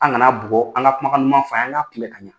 An kana bugɔ, an ka kumakan duman fɔ , an k'a kumbɛ ka ɲan.